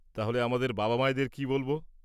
তাহলে আমাদের বাবা-মায়েদের কি বলব?